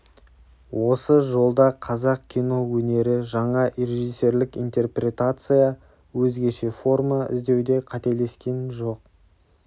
осы жолда қазақ кино өнері жаңа режиссерлік интерпретация өзгеше форма іздеуде қателескен жоқ